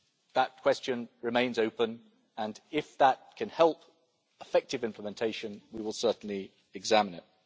That question remains open, and if that can help effective implementation we will certainly examine it.